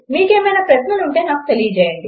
మీకు ఏమన్నా ప్రశ్నలు ఉంటే నాకు తెలియచేయండి